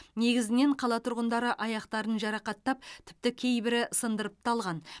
негізінен қала тұрғындары аяқтарын жарақаттап тіпті кейбірі сындырып та алған